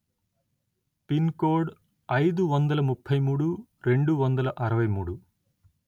pin code అయిదు వందల ముప్పై మూడు రెండు వందల అరవై మూడు